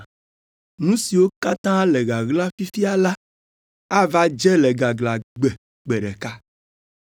Nu siwo katã le ɣaɣla fifia la, ava dze le gaglãgbe gbe ɖeka.